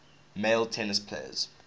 male tennis players